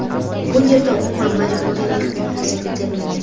Bu yerda umuman majburiy mehnat yuzaga kelmagan.